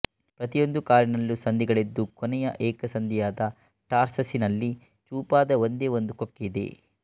ಪ್ರತಿಯೊಂದು ಕಾಲಿನಲ್ಲೂ ಸಂಧಿಗಳಿದ್ದು ಕೊನೆಯ ಏಕಸಂಧಿಯಾದ ಟಾರ್ಸಸಿನಲ್ಲಿ ಚೂಪಾದ ಒಂದೇ ಒಂದು ಕೊಕ್ಕೆ ಇದೆ